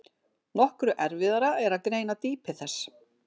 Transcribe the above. Nokkru erfiðara er að greina dýpi þess.